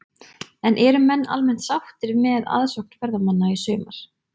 En eru menn almennt sáttir með aðsókn ferðamanna í sumar?